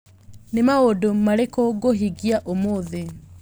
Nĩ maũndũ marĩkũ ngũhingia ũmũthĩ